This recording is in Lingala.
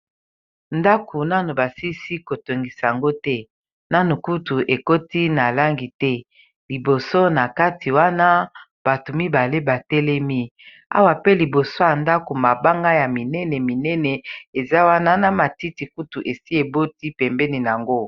ndako nanu basisi kotongisa yango te nanu kutu ekoti na langi te liboso na kati wana bato mibale batelemi awa pe liboso ya ndako mabanga ya minene minene eza wana na matiti kutu esi eboti pembeni yango